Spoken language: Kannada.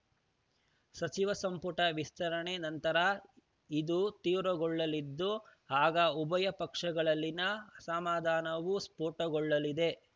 ಸಚಿವ ಸಂಪುಟ ವಿಸ್ತರಣೆ ನಂತರ ಇದು ತೀವ್ರಗೊಳ್ಳಲಿದ್ದು ಆಗ ಉಭಯ ಪಕ್ಷಗಳಲ್ಲಿನ ಅಸಮಾಧಾನವೂ ಸ್ಫೋಟಗೊಳ್ಳಲಿದೆ